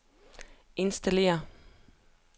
installere